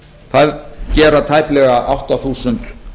það gera tæplega átta þúsund